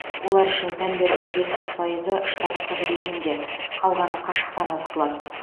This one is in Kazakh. олар үшін пәндердің жетпіс пайызы штаттық режимде қалғаны қашықтан оқытылады